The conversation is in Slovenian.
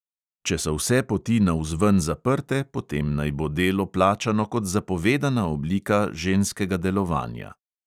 Če so vse poti navzven zaprte, potem naj bo delo plačano kot zapovedana oblika ženskega delovanja.